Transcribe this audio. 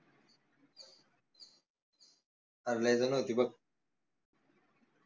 अरे लय झन होती बघ